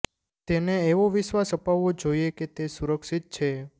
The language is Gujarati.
તેને એવો વિશ્વાસ અપાવવો જોઈએ કે તે સુરક્ષિત છે